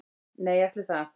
Nei, ætli það